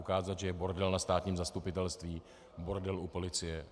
Ukázat, že je bordel na státním zastupitelství, bordel u policie.